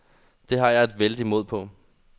Det har jeg et vældig mod på.